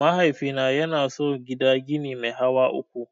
Mahaifina ya so gida gini mai hawa uku.